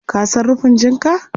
Ka san rufin jinka?